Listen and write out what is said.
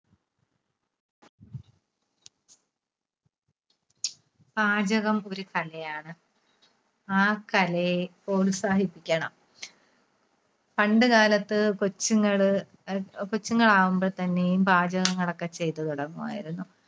പാചകം ഒരു കലയാണ്. ആ കലയെ പ്രോത്സാഹിപ്പിക്കണം. പണ്ട് കാലത്ത് കൊച്ചുങ്ങള്, അഹ് കൊച്ചുങ്ങളാവുമ്പോൾ തന്നെയും പാചകങ്ങളൊക്കെ ചെയ്തു തുടങ്ങുമായിരുന്നു.